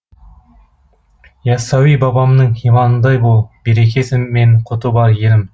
яссауи бабамның иманындай бол берекесі мен құты бар елім